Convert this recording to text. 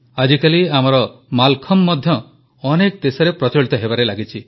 ଆଜିକାଲି ଆମର ମାଲଖମ୍ବ ମଧ୍ୟ ଅନେକ ଦେଶରେ ପ୍ରଚଳିତ ହେବାରେ ଲାଗିଛି